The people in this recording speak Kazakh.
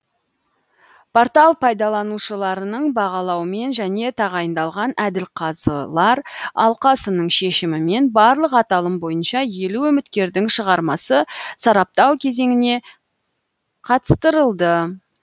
портал пайдаланушыларының бағалауымен және тағайындалған әділқазылар алқасының шешімімен барлық аталым бойынша елу үміткердің шығармасы сараптау кезеңіне қатыстырылды